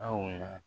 Aw ma